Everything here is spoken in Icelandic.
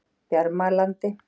Bjarmalandi